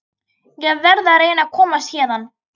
Ég verð að reyna að komast héðan.